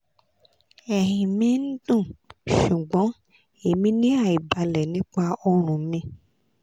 ẹhin mi n dun ṣugbọn emi ni aibalẹ nipa ọrùn mi